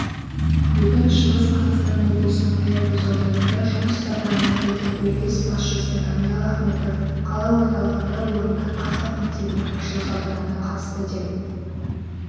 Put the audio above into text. бүгін шығыс қазақстан облысының аягөз ауданында жұмыс сапарымен келген облыс басшысы даниал ахметов қала орталығында орындық қазақмектебінің ашылу салтанатына қатысты деп